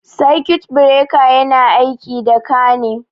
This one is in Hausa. Sakut bireka yana aiki da ka ne